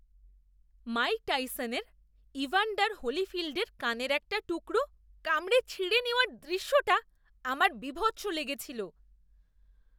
Mic টাইসনের Evander হোলিফিল্ডের কানের একটা টুকরো কামড়ে ছিঁড়ে নেওয়ার দৃশ্যটা আমার বীভৎস লেগেছিল।